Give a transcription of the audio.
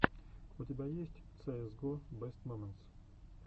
у тебя есть цээс го бест моментс